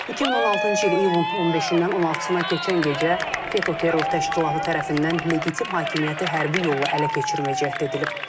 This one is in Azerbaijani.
2016-cı il iyulun 15-dən 16-sına keçən gecə FETÖ terror təşkilatı tərəfindən legitim hakimiyyəti hərbi yolla ələ keçirmə cəhdi edilib.